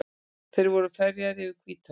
Þeir voru ferjaðir yfir Hvítá.